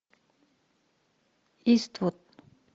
иствуд